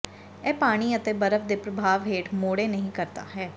ਇਹ ਪਾਣੀ ਅਤੇ ਬਰਫ਼ ਦੇ ਪ੍ਰਭਾਵ ਹੇਠ ਮੋੜੋ ਨਹੀ ਕਰਦਾ ਹੈ